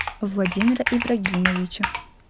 владимира ибрагимовича